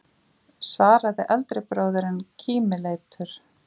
svaraði eldri bróðirinn kímileitur.